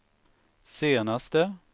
senaste